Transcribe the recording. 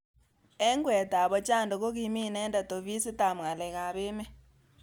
Eng kweet ab Ochando kokimi inendet ofisit ab ngalek ab emet.